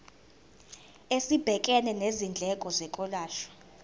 esibhekene nezindleko zokwelashwa